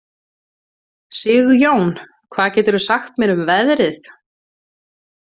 Sigjón, hvað geturðu sagt mér um veðrið?